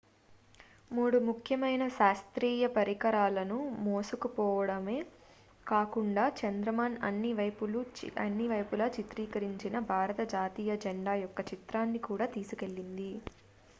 మూడు ముఖ్యమైన శాస్త్రీయ పరికరాలను మోసుకుపోడమే కాకుండా చంద్రయాన్ అన్ని వైపుల చిత్రీకరించిన భారత జాతీయ జెండా యొక్క చిత్రాన్ని కూడా తీసుకెళ్లింది